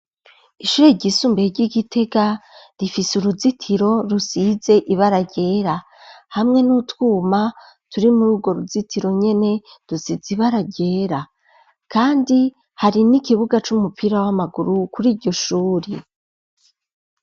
Ishure ryisumbiye ryi Gitega rifise uruzitiro rusize ibara ryera hamwe n'utwuma turi muri urwo ruzitiro nyene dusize ibara ryera kandi hari n'ikibuga c'umupira w'amaguru kuri iryo shuri